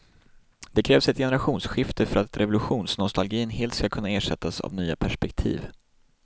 Det krävs ett generationsskifte för att revolutionsnostalgin helt ska kunna ersättas av nya perspektiv.